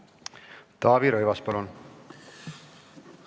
Taavi Rõivas, palun!